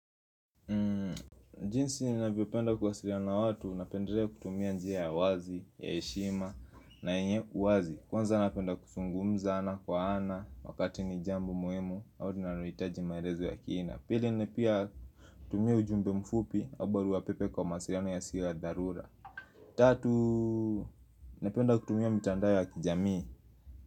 Jinsi ninavyopenda kuwasiliana na watu, napendelea kutumia njia ya wazi, ya heshima, na yenye uwazi Kwanza napenda kuzungumza ana kwa ana, wakati ni jambo muhimu, au linalohitaji maelezo ya kina Pili ni pia kutumia ujumbe mfupi, au baruapepe kwa mawasiliano yasiyo ya dharura Tatu, napenda kutumia mitandao ya kijamii.